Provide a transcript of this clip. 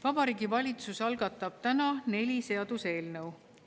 Vabariigi Valitsus algatab täna neli seaduseelnõu.